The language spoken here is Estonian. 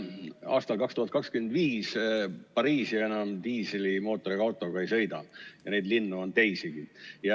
Aastal 2025 Pariisis enam diislimootoriga autoga ei sõideta, ja neid linnu on teisigi.